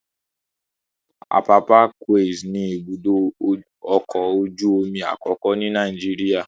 Apapa Quays ni ibùdó ọkọ̀ ojú omi àkọ́kọ́ ni Nàìjíríà.